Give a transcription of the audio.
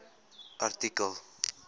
artikel